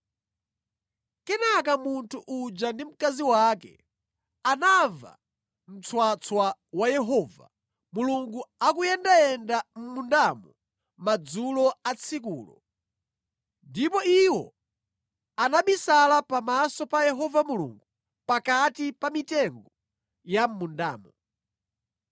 Kenaka munthu uja ndi mkazi wake anamva mtswatswa wa Yehova Mulungu akuyendayenda mʼmundamo madzulo a tsikulo, ndipo iwo anabisala pamaso pa Yehova Mulungu pakati pa mitengo ya mʼmundamo.